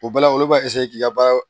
O bɛɛ la olu b'a k'i ka baara